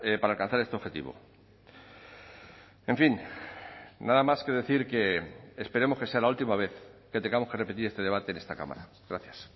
para alcanzar este objetivo en fin nada más que decir que esperemos que sea la última vez que tengamos que repetir este debate en esta cámara gracias